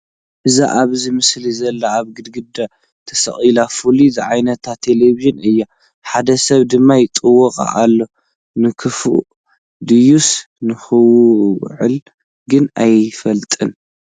እዛ ኣብዚ ምስሊ ዘላ ኣብ ግድግዳ ትስቀል ፍላት ዝዓይነታ ቴለብዥን እያ፡፡ ሓደ ሰብ ድማ ይጥውቓ ኣሎ፡፡ ንከፍኣ ድዩስ ንክውልዓ ግን ኣይፍለጥን፡፡